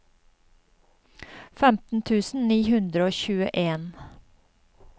femten tusen ni hundre og tjueen